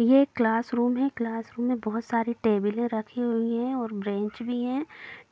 ये class room है class room में बहुत सारे टेबले रखी हुई हैं और बेंच भी है